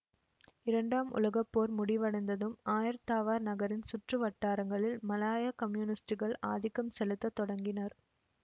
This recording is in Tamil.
இரண்டாம் உலக போர் முடிவடைந்ததும் ஆயர் தாவார் நகரின் சுற்று வட்டாரங்களில் மலாயா கம்யூனிஸ்டுகள் ஆதிக்கம் செலுத்த தொடங்கினர்